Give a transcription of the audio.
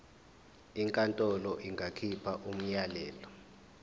inkantolo ingakhipha umyalelo